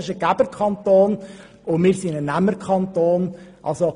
Zürich ist ein Geberkanton, während wir ein Nehmerkanton sind.